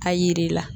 A yiri la